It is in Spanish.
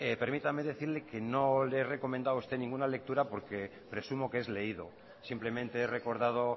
permítame decirle que no le he recomendado a usted ninguna lectura porque presumo que es leído simplemente he recordado